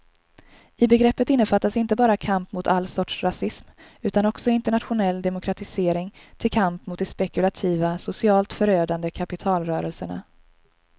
I begreppet innefattas inte bara kamp mot all sorts rasism utan också internationell demokratisering till kamp mot de spekulativa, socialt förödande kapitalrörelserna.